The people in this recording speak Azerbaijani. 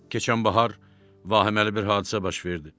Keçən bahar vahiməli bir hadisə baş verdi.